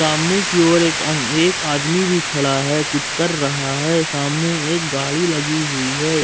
सामने की ओर एक एक आदमी भी खड़ा है कुछ कर रहा है सामने एक गाड़ी लगी हुई है।